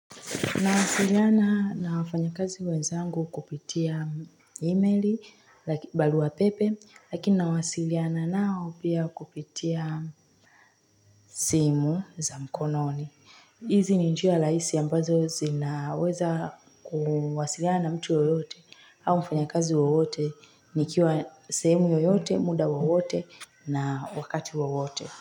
Nawasiliana na wafanyakazi wenzangu kupitia emeli barua wapepe, lakini nawasiliana nao pia kupitia simu za mkononi. Hizi ni njia laisi ambazo zinaweza kuwasiliana na mtu yoyote au mfanyakazi yoyote nikiwa semu yoyote, muda wowote na wakati wowote.